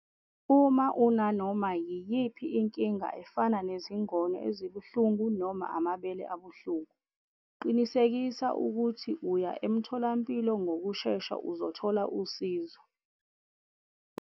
Uma unanoma yiyiphi inkinga efana nezingono ezibuhlungu noma amabele abuhlungu, qinisekisa ukuthi uya emtholampilo ngokushesha uzothola usizo.